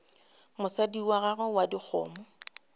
mosadi wa gago wa dikgomo